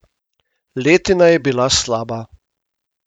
Letina je bila slaba.